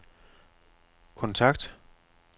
kontakt